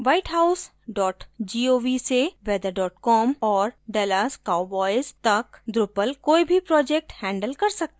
whitehouse gov से weather com और dallas cowboys तक drupal कोई भी project handle कर सकता है